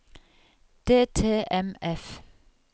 DTMF